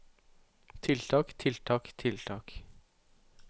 tiltak tiltak tiltak